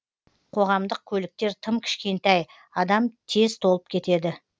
қоғамдық көліктер тым кішкентай адам тез толып кетеді